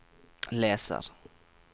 leser